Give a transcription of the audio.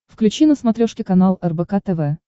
включи на смотрешке канал рбк тв